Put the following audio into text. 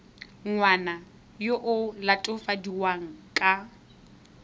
ngwana yo o latofadiwang ka